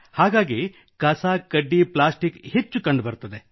ಹಾಗಾಗಿ ಕಸ ಕಡ್ಡಿ ಪ್ಲಾಸ್ಟಿಕ್ ಹೆಚ್ಚು ಕಂಡುಬರುತ್ತದೆ